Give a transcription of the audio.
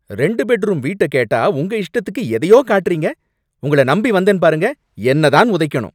ரெண்டு bed room வீட்ட கேட்டா உங்க இஷ்டத்துக்கு எதையோ காட்டுறிங்க. உங்களை நம்பி வந்தேன் பாருங்க என்னதான் உதைக்கணும்.